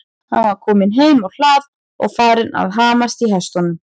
Hann var kominn heim á hlað og farinn að hamast í hestunum.